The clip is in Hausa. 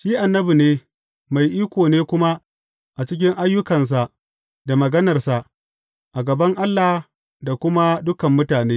Shi annabi ne, mai iko ne kuma cikin ayyukansa da maganarsa, a gaban Allah da kuma dukan mutane.